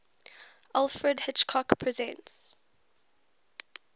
alfred hitchcock presents